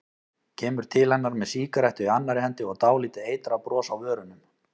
Kemur til hennar með sígarettu í annarri hendi og dálítið eitrað bros á vörunum.